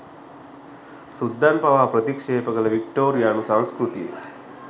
සුද්දන් පවා ප්‍රතික්ෂේප කළ වික්ටෝරියානු සංස්කෘතිය